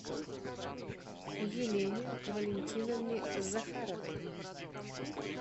елене валентиновне захаровой